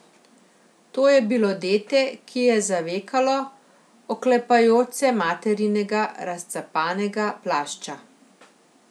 To je bilo dete, ki je zavekalo, oklepajoč se materinega razcapanega plašča.